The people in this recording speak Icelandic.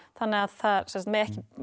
þannig að það mega ekki